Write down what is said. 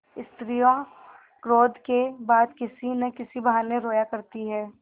स्त्रियॉँ क्रोध के बाद किसी न किसी बहाने रोया करती हैं